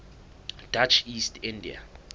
dutch east india